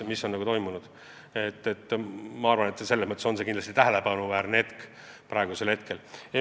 Ma arvan, et see on kindlasti tähelepanuväärne hetk.